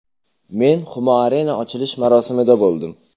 Men Humo Arena ochilish marosimida bo‘ldim.